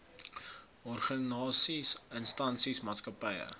organisasies instansies maatskappye